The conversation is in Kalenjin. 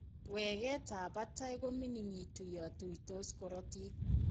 Weketab batay ko miningitu yon tuuytos rootoonik.